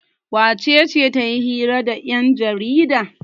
wacece ta yi hira da yanjarida?